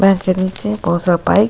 पैर के नीचे बहुत सारा पाइप --